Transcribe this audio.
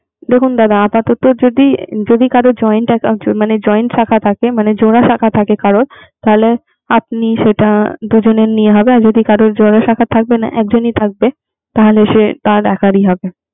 দেখুন দাদা আপাতত যদি কারো joint account থাকে। মানে জোড়া শাখা থাকে। কারো তাহলে আপনি সেটা দুজনে নিয়া হবে। আর যদি কারো জোড়া শাখা থাকে না একজনই থাকবে। তাহলে সে তাহলে আপনার একার ই হবে